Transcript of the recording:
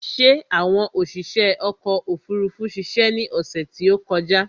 Ṣé àwọn oṣiṣé ọkò òfurufú ṣiṣe ni ọ̀sè tí ó kọjá?